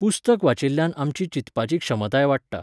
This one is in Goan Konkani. पुस्तक वाचिल्ल्यान आमची चिंतपाची क्षमताय वाडटा.